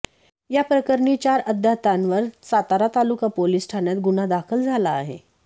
याप्रकरणी चार अज्ञातांवर सातारा तालुका पोलिस ठाण्यात गुन्हा दाखल झाला आहे